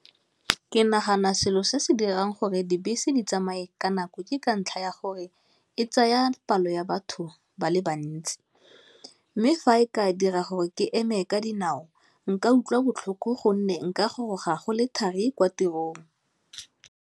Ke nagana selo se se dirang gore dibese di tsamaye ka nako, ke ka ntlha ya gore e tsaya palo ya batho ba le bantsi, mme fa e ka dira gore ke eme ka dinao nka utlwa botlhoko gonne nka goroga go le thari kwa tirong.